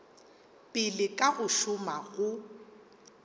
pele ka go šoma go